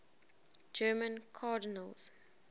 german cardinals